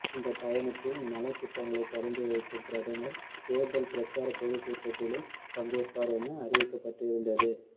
இந்த பயணத்தில் நலத்திட்டங்களை தொடங்கி வைக்கும் பிரதமர் தேர்தல் பிரச்சார பொதுக்கூட்டத்திலும் பங்கேற்பார் என அறிவிக்கப்பட்டிருந்தது